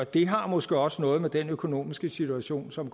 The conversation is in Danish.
det har måske også noget med den økonomiske situation som